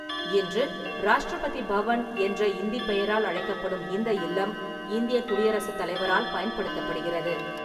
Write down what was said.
இன்று 'ராஷ்டிரபதி பவன்' என்ற இந்திப் பெயரால் அழைக்கப்படும் இந்த இல்லம் இந்தியக் குடியரசுத் தலைவரால் பயன்படுத்தப்படுகிறது.